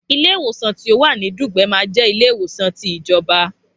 Ilé ìwòsan ti ọ wà ní Dùgbẹ̀ ma je ilé ìwòsan ti ìjọba